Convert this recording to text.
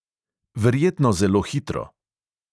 Verjetno zelo hitro.